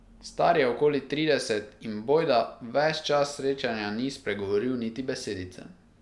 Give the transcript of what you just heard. Star je okoli trideset in bojda ves čas srečanja ni spregovoril niti besedice.